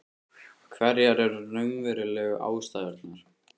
Hverjar eru raunverulegu ástæðurnar?